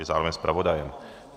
Je zároveň zpravodajem.